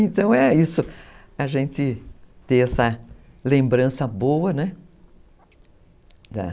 Então é isso, a gente ter essa lembrança boa, né?